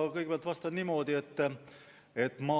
Ma kõigepealt vastan niimoodi, et ma